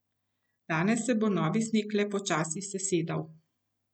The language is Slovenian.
Danes se bo novi sneg le počasi sesedal.